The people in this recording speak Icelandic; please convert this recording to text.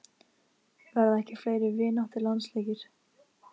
Verða ekki fleiri vináttulandsleikir?